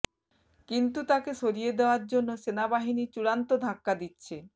কিন্তু তাকে সরিয়ে দেওয়ার জন্য সেনাবাহিনী চূড়ান্ত ধাক্কা দিচ্ছে